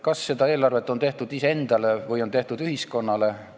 Kas see eelarve on tehtud iseendale või ühiskonnale?